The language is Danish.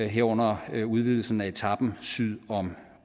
herunder udvidelsen af etapen syd om